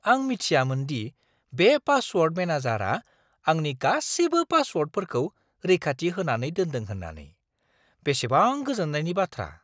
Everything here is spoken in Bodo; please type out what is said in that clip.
आं मिथियामोन दि बे पासवर्ड मेनेजारआ आंनि गासिबो पासवर्डफोरखौ रैखाथि होनानै दोनदों होन्नानै। बेसेबां गोजोननायनि बाथ्रा!